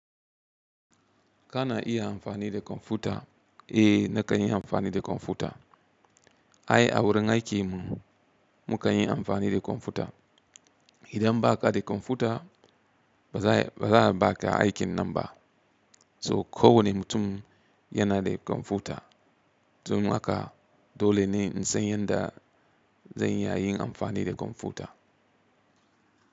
Kana iya amfani da kwamfuta, eh na kanyi amfani da kwamfuta. Ai a wurin aikinki mu kayi amfani da kwamfuta. Idan ba ka da kwamfuta ba za ka yi aikin nan ba. So kowane mutum yana da kwamfuta. Domin haka dole ne in san yadda zan iya yin amfani da kwamfuta.